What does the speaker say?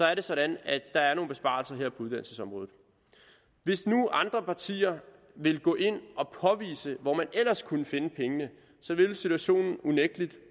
er det sådan at der er nogle besparelser på uddannelsesområdet hvis nu andre partier ville gå ind og påvise hvor man ellers kunne finde pengene ville situationen unægtelig